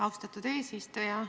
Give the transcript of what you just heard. Austatud eesistuja!